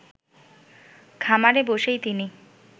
খামারে বসেই তিনি